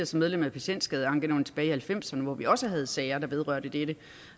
som medlem af patientskadeankenævnet tilbage i nitten halvfemserne hvor vi også havde sager der vedrørte dette